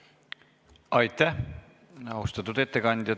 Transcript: Aitäh, austatud ettekandja!